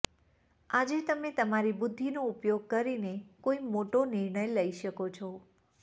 આજે તમે તમારી બુદ્ધિનો ઉપયોગ કરીને કોઈ મોટો નિર્ણય લઈ શકો છો